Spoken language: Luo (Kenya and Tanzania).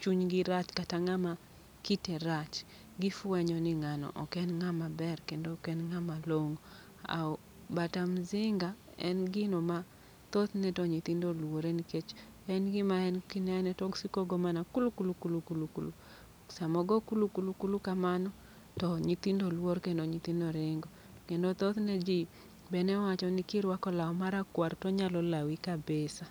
chunygi rach kata ng'ama kite rach. Gifwenyo ni ng'ano ok en ng'ama ber kendo ok en ng'ama long'o. Aw bata mzinga en gino ma thothne to nyithindo olwore. Nikech en gima en kinene tosiko go mana kulu kulu kulu kulu kulu. Samo go kulu kulu kulu kamano, to nyithindo luor kendo nyithindo ringo. Kendo thothne ji be newacho ni kirwako law marakwar tonyalo lawi kabisa.